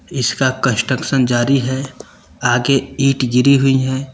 इसका कंस्ट्रक्शन जारी है आगे ईंट गिरी हुई हैं।